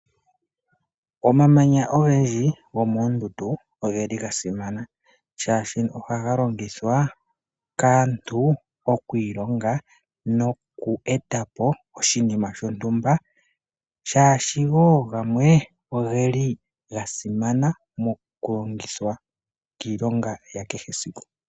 Omamanya ogendji goomondundu ogeli ga simana, oshoka ohaga longithwa kaantu okwi ilonga noku etapo oshinima shontumba, oshoka wo gamwe ogeli ga simana moku longithwa iilonga ya kehesiku.